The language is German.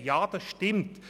Dies ist auch richtig.